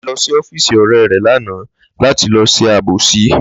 Lábísí ló̩ sí ófíìsì ò̩ré̩ rè̩ lánàá láti lo̩ s̩e àbòsí